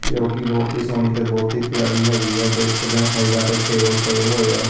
ਜੋ ਕਿ ਬਹੁਤ ਹੀ ਸੋਹਣੀ ਤੇ ਬਹੁਤ ਹੀ ਪਿਆਰੀ ਹੈਗੀ ਆ ਦੇਖ ਸਕਦੇ ਆ ਸਾਈਡਾਂ ਤੇ ਟੇਬਲ ਪਏ ਹੋਏ ਆ।